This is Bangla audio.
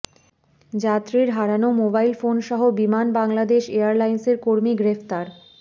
যাত্রীর হারানো মোবাইল ফোনসহ বিমান বাংলাদেশ এয়ারলাইন্সের কর্মী গ্রেফতার